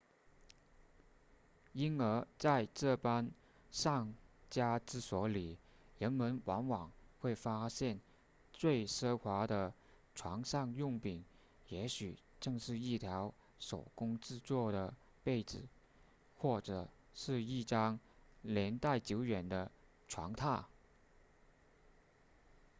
因而在这般上佳之所里人们往往会发现最奢华的床上用品也许正是一条手工制作的被子或者是一张年代久远的床榻